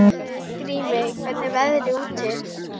Grímey, hvernig er veðrið úti?